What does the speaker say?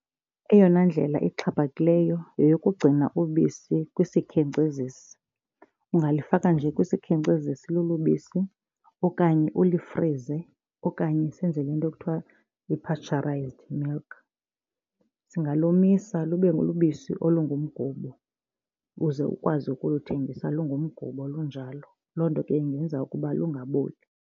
Eyona ndlela exhaphakileyo yeyokugcina ubisi kwisikhenkcezisi. Ungalifaka nje kwisikhenkcezisi olo bisi okanye ulifrize okanye senze le nto ekuthiwa yi-pasteurized milk. Singalomisa lube lubisi olungumgubo uze ukwazi ukuthengisa lungumgubo lunjalo. Loo nto ke ingenza ukuba lungaboli.